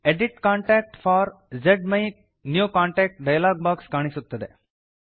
edit contact for main new contact dialog box ಕಾಣಿಸುತ್ತದೆ